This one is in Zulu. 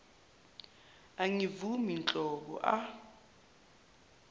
angivumi nhlobo a